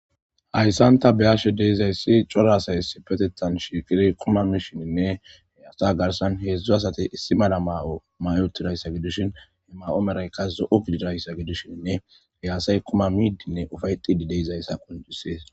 hayssanta beyashe deezayssi cora asay isipetettan shiekiri kuma mishininne he assa garsan heedzdzo asate issi mala ma7o mayotirayssa gidushin he ma7o meraykas zo7u gidirayssa gidushinne hiyaasay kuma miidinne ufaytidi deizayssa qunjisees